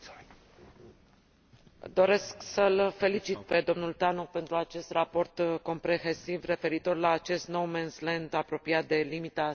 Doresc să îl felicit pe domnul Tannock pentru acest raport comprehensiv referitor la acest no man's land apropiat de limita sudică a Uniunii Europene.